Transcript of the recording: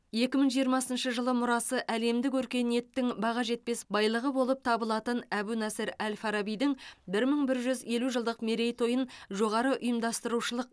екі мың жиырмасыншы жылы мұрасы әлемдік өркениеттің баға жетпес байлығы болып табылатын әбу насыр әл фарабидің бір мың бір жүз елу жылдық мерейтойын жоғары ұйымдастырушылық